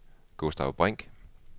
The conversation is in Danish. Gustav Brink